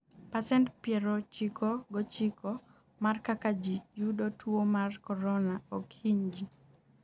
pacent piero chiko gochiko mar kaka ji yudo tuwo mar korona ok hiny ji